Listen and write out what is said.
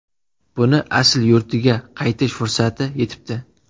Buni asl yurtiga qaytish fursati yetibdi.